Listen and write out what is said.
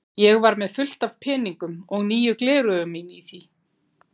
Ég var með fullt af peningum og nýju gleraugun mín í því.